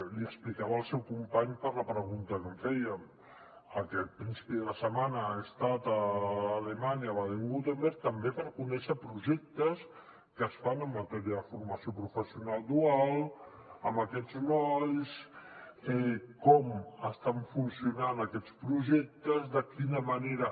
li explicava al seu company per la pregunta que em feia aquest principi de setmana he estat a alemanya a baden württemberg també per conèixer projectes que es fan en matèria de formació professional dual amb aquests nois com estan funcionant aquests projectes de quina manera